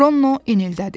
Ronno inildədi.